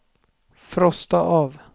frosta av